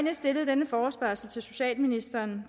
har stillet denne forespørgsel til socialministeren